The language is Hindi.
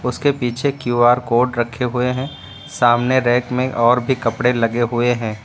उसके पीछे क्यू_आर कोड रखे हुए है सामने रैक में और भी कपड़े लगे हुए हैं।